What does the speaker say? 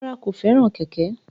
Rárá, kò fẹ́ràn kẹ̀kẹ́